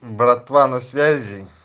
братва на связи